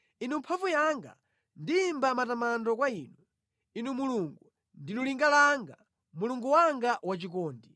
Inu mphamvu yanga, ndiyimba matamando kwa inu; Inu Mulungu, ndinu linga langa, Mulungu wanga wachikondi.